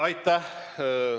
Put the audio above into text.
Aitäh!